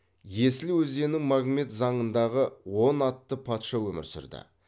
есіл өзенінің магмет заңындағы он атты патша өмір сүрді